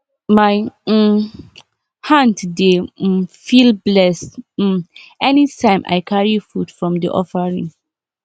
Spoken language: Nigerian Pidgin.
my um hand dey um feel blessed um anytime i carry food from the offaring